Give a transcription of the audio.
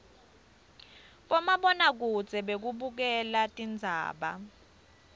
bomabonakudze bekubukela tindzaba